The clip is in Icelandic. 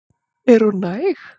Er hún næg?